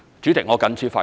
主席，我謹此發言。